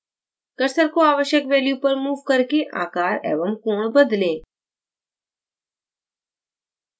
cursor को आवश्यक value पर मूव करके आकार एवं कोण बदलें